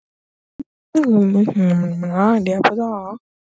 Það var stórkostleg upplifun: Mér fannst ég vera einhvers virði.